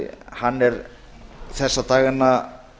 hann er þessa dagana